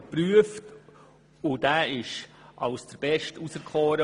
Dieser wurde als der Beste auserkoren.